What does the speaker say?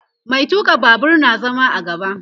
Mai tuka Babur na zama a gaba